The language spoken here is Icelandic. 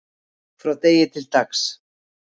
frá degi til dags